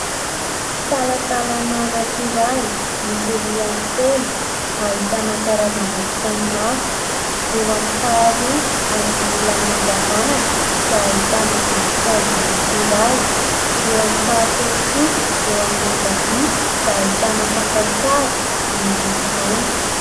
Talantalana anankiray misy rihany telo ahitana karazam-boky samihafa. Eo amin'ny faharoa amin'ny ilany ankavanana dia ahitana voninkazo maitso iray. Eo amin'ny fahatelo kosa eo amin'ny ankavia dia ahitana fakantsary miloko mainty.